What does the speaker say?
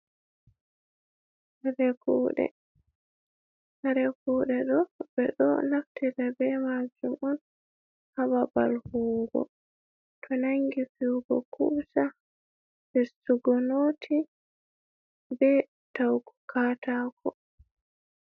Kare Kuɗe: Kare kuɗe ɗo ɓeɗo naftira be majum on ha babal huwugo to nangi fiwugo kusa, fistugo noti, be ta'ugu katako.